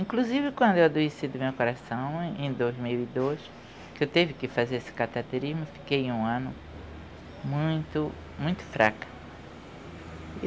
Inclusive, quando eu adoeci do meu coração, em dois mil e dois, que eu teve que fazer esse cateterismo, fiquei um ano muito, muito fraca.